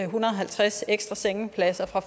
hundrede og halvtreds ekstra sengepladser fra